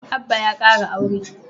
Abba ya kara aure